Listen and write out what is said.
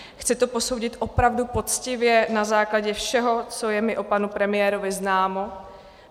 Chci to posoudit opravdu poctivě na základě všeho, co je mi o panu premiérovi známo.